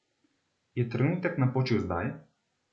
Je trenutek napočil zdaj?